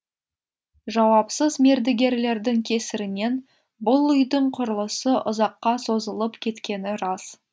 жауапсыз мердігерлердің кесірінен бұл үйдің құрылысы ұзаққа созылып кеткені рас